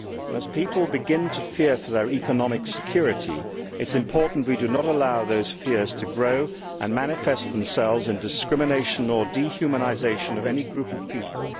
As people begin to fear for their economic security it is important that we do not allow those fears to grow and manifest themselves in discrimination or in the dehumanisation of any group of people.